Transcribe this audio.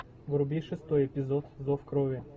вруби шестой эпизод зов крови